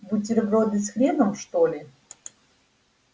бутерброды с хреном что ли